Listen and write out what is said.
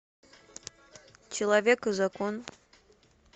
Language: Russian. человек и закон